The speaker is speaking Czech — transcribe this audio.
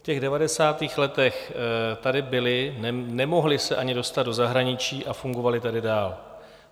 V těch 90. letech tady byli, nemohli se ani dostat do zahraničí a fungovali tady dál.